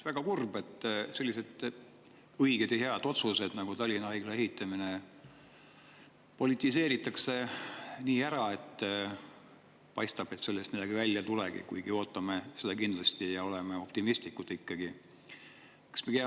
Väga kurb, et sellised õiged ja head otsused nagu Tallinna Haigla ehitamine politiseeritakse nii ära, et paistab, et sellest midagi välja ei tulegi, kuigi me kindlasti ootame seda ja oleme ikkagi optimistlikud.